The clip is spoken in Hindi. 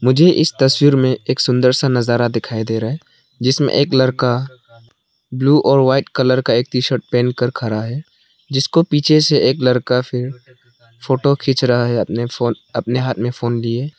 मुझे तस्वीर में एक सुंदर सा नजारा दिखाई दे रहा है जिसमें एक लड़का ब्लू और व्हाइट कलर का एक टी शर्ट पहन कर खड़ा है जिसको पीछे से एक लड़का फिर फोटो खींच रहा है अपने फोन अपने हाथ में फोन लिए।